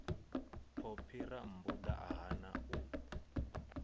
phophi rammbuda a hana u